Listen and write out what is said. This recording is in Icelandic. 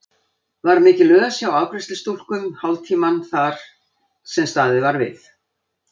Var mikil ös hjá afgreiðslustúlkum hálftímann sem þar var staðið við.